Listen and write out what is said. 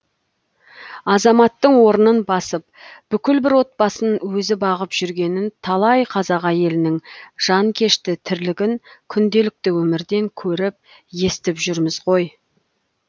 азаматтың орнын басып бүкіл бір отбасын өзі бағып жүргенін талай қазақ әйелінің жанкешті тірлігін күнделікті өмірден көріп естіп жүрміз ғой